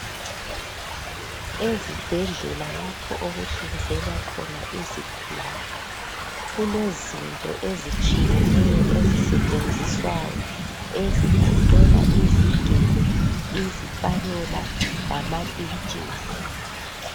Ezibhedlela lapho okuhlinzelwa khona izigulane kulezinto ezitshiyeneyo ezitshenziswayo ezigoqela izigelo, izipanela lamapintshisi